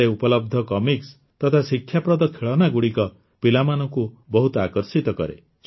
ଏଠାରେ ଉପଲବ୍ଧ କମିକ୍ସ ବହି ତଥା ଶିକ୍ଷାପ୍ରଦ ଖେଳନାଗୁଡ଼ିକ ପିଲାମାନଙ୍କୁ ବହୁତ ଆକର୍ଷିତ କରେ